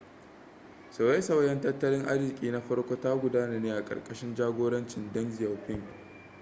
sauye-sauyen tattalin arziki na farko ta gudana ne a ƙarƙashin jagorancin deng xiaoping